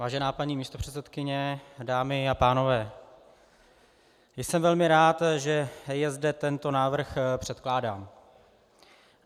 Vážená paní místopředsedkyně, dámy a pánové, jsem velmi rád, že je zde tento návrh předkládán.